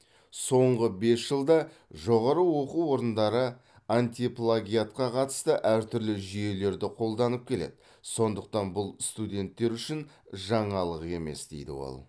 соңғы бес жылда жоғары оқу орындары антиплагиатқа қатысты әртүрлі жүйелерді қолданып келеді сондықтан бұл студенттер үшін жаңалық емес дейді ол